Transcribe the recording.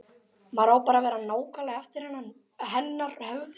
Maður á bara að vera nákvæmlega eftir hennar höfði.